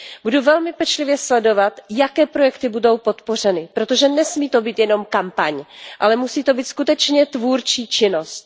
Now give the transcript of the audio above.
Budu velmi pečlivě sledovat, jaké projekty budou podpořeny, protože nesmí to být jen kampaň, ale musí to být skutečně tvůrčí činnost.